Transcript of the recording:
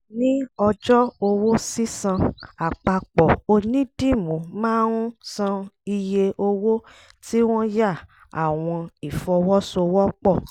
ní ọjọ́ owó sísan àpapọ̀ ònídìmú máa ń máa ń san iye owó tí wọ́n yà àwọn ìfọwọ́sowọ́pọ̀.